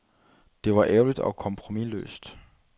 Det var ærligt og kompromisløst.